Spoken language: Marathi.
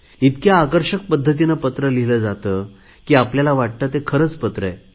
इतक्या आकर्षक पद्धतीने पत्र लिहिले जाते की आपल्याला वाटते ते खरे पत्र आहे